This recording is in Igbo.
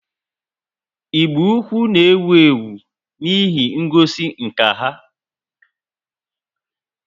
Igbo-ukwu na ewu ewu n' ihe ngosi nka ha